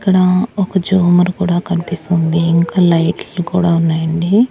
ఇక్కడ ఒక జోమర్ కుడా కన్పిస్తూ ఉంది ఇంకా లైట్లు కూడా ఉన్నాయండి.